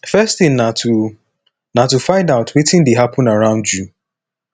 first tin na to na to find out wetin dey happen around you